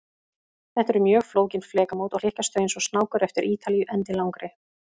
Þetta eru mjög flókin flekamót, og hlykkjast þau eins og snákur eftir Ítalíu endilangri.